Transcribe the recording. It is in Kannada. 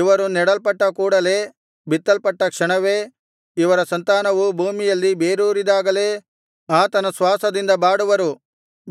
ಇವರು ನೆಡಲ್ಪಟ್ಟ ಕೂಡಲೆ ಬಿತ್ತಲ್ಪಟ್ಟ ಕ್ಷಣವೇ ಇವರ ಸಂತಾನವು ಭೂಮಿಯಲ್ಲಿ ಬೇರೂರಿದಾಗಲೇ ಆತನ ಶ್ವಾಸದಿಂದ ಬಾಡುವರು